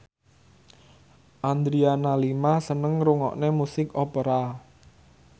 Adriana Lima seneng ngrungokne musik opera